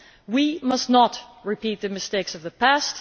We must not repeat the mistakes of the past.